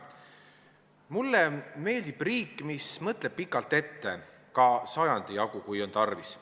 Mulle meeldib riik, mis mõtleb pikalt ette, ka sajandijagu, kui on tarvis.